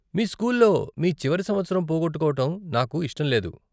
మీ స్కూల్లో మీ చివరి సంవత్సరం పోగొట్టుకోవటం నాకు ఇష్టం లేదు.